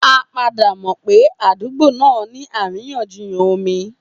A padà mọ̀ pé àdúgbò náà ní àríyànjiyàn omi.